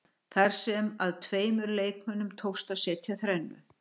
Þar sem að tveimur leikmönnum tókst að setja þrennu.